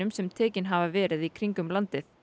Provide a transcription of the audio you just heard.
sem tekin hafa verið í kringum landið